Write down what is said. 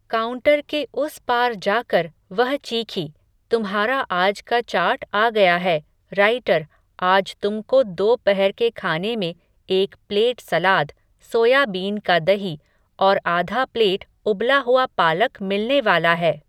counter के उस पार जाकर, वह चीखी, तुम्हारा आज का चार्ट आ गया है, राइटर, आज तुमको दो पहर के खाने में एक प्लेट सलाद, सोयाबीन का दही, और आधा प्लेट उबला हुआ पालक मिलने वाला है